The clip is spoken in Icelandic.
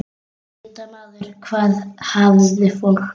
Vita hvar maður hafði fólk.